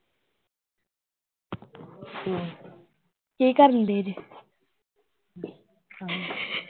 ਕੀ ਕਰਨਡੇ ਜੇ?